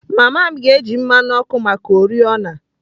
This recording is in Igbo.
Mama m ga-eji mmanụ ọkụ maka oriọna.